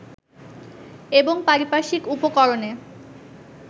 এবং পারিপার্শ্বিক উপকরণে